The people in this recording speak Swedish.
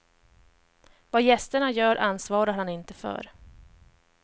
Vad gästerna gör ansvarar han inte för.